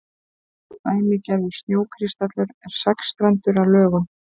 dæmigerður snjókristallur er sexstrendur að lögun